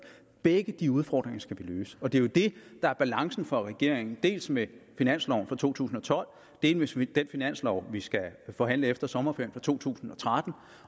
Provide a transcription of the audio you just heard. begge de udfordringer skal vi løse og det er jo det der er balancen for regeringen dels med finansloven for to tusind og tolv dels med den finanslov vi skal forhandle efter sommerferien for to tusind og tretten